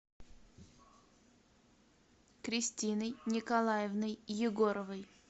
кристиной николаевной егоровой